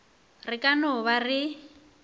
re ka no ba re